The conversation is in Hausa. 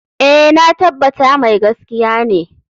Eh, na tabbata mai gaskiya ne.